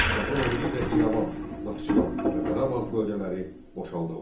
Şahın əmri ilə İrəvan, Naxçıvan və Qarabağ bölgələri boşaldıldı.